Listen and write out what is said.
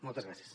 moltes gràcies